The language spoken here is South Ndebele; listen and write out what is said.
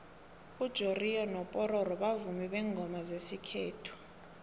ujoriyo nopororo bavumi bengoma zesikhethu